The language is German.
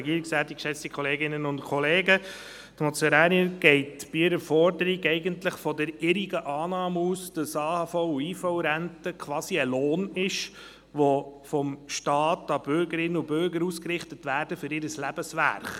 Die Motionärin geht bei ihrer Forderung eigentlich von der irrigen Annahme aus, AHV- und IV-Renten seien quasi ein Lohn, der vom Staat an Bürgerinnen und Bürger ausgerichtet werde für ihr Lebenswerk.